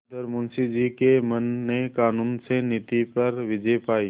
उधर मुंशी जी के मन ने कानून से नीति पर विजय पायी